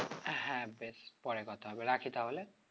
হ্যাঁ বেশ পরে কথা হবে রাখি তাহলে